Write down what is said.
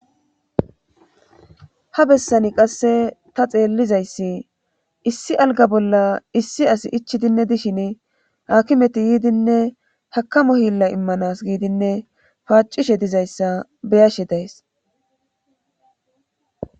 ha bessani qasse ta xeellizayssi issi alga bolla issi as ichidinne dishin hakimeti yiidinne hakamo hilla immanas giidinne paacishe dizayssa beyashe days